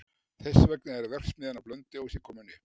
Þess vegna er verksmiðjan á Blönduósi komin upp.